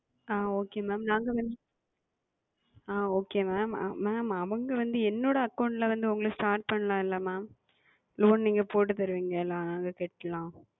ஆஹ் Okay Ma'am நாங்க வந்து ஆஹ் Okay Ma'amMa'am அவங்க வந்து என்னோட Account ல வந்து Start பண்ணலாம் இல்ல Ma'am? Loan நீங்கள் போட்டு தருவீங்களா? நாங்கள் கட்டலாம்.